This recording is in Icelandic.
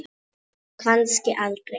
Og kannski aldrei.